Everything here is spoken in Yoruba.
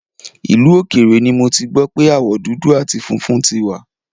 Ìlú òkèèrè ni mo ti gbọ́ pé aáwọ̀ dudu àti funfun tí wà